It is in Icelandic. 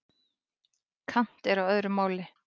Kant er á öðru máli.